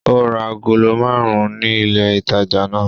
Ó ra agolo márùn-ún ní ilé-ìtajà náà.